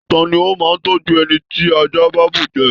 Tani o máa n tọjú ẹni tí àjà ba bú jẹ?